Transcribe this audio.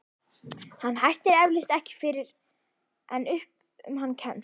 Hann hættir eflaust ekki fyrr en upp um hann kemst.